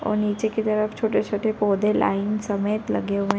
और नीचे की तरफ छोटे -छोटे पौधे लाइन समेत लगे हुए --